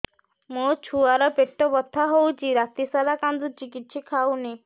ମୋ ଛୁଆ ର ପେଟ ବଥା ହଉଚି ରାତିସାରା କାନ୍ଦୁଚି କିଛି ଖାଉନି